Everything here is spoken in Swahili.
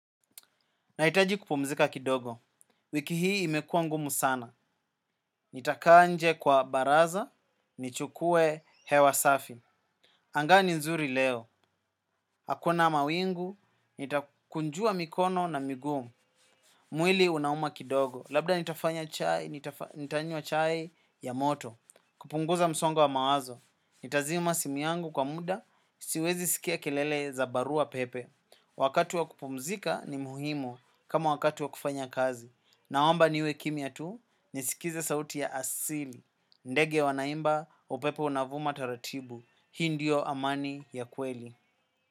Nahitaji kupumzika kidogo, wiki hii imekua ngumu sana. Nitakaa nje kwa baraza, nichukue hewa safi. Anga ni nzuri leo, hakuna mawingu, nitakunjua mikono na migumu. Mwili unauma kidogo, labda nitafanya chai, nitanywa chai ya moto. Kupunguza msongo wa mawazo, nitazima simu yangu kwa muda, siwezi sikia kelele za barua pepe. Wakati wa kupumzika ni muhimu kama wakati wa kufanya kazi. Naomba niwe kimya tu, nisikize sauti ya asili. Ndege wanaimba, upepo unavuma taratibu. Hii ndio amani ya kweli.